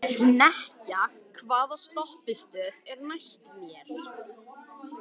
Nikolas, hvernig er dagskráin?